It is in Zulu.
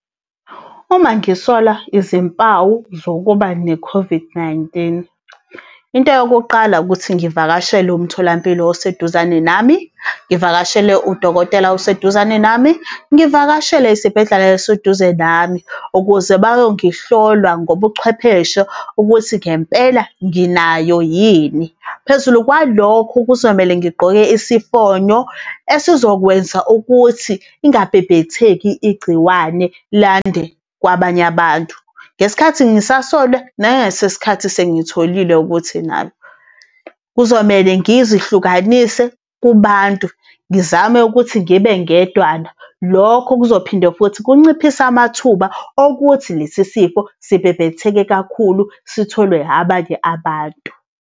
Uma ngisola izimpawu zokuba ne-COVID-19. Into yokuqala ukuthi ngivakashele umtholampilo oseduzane nami, ngivakashele udokotela oseduzane nami, ngivakashele isibhedlela eseduze nami. Ukuze bayongihlola ngobuchwepheshe ukuthi ngempela nginayo yini. Phezulu kwalokho, kuzomele ngigqoke isifonyo esizokwenza ukuthi ingabhebhetheki igciwane lande kwabanye abantu, ngesikhathi ngisasolwa, nangesikhathi sengitholile ukuthi nalo. Kuzomele ngizihlukanise kubantu, ngizame ukuthi ngibe ngedwana, lokho kuzophinde futhi kunciphise amathuba okuthi lesi sifo sibhebhetheke kakhulu sitholwe abanye abantu.